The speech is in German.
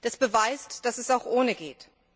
Das beweist, dass es auch ohne geht.